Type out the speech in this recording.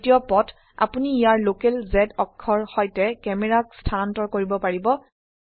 দ্বিতীয় পথ আপোনি ইয়াৰ লোকেল z অক্ষৰ সৈতে ক্যামেৰাক স্থানান্তৰ কৰিব পাৰিব